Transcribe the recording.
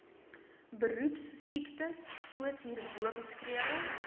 beroepsiektesoos hierbo beskrywe